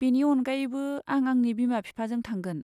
बेनि अनगायैबो, आं आंनि बिमा बिफाजों थांगोन।